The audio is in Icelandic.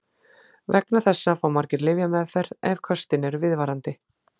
Vegna þessa fá margir lyfjameðferð ef köstin eru viðvarandi.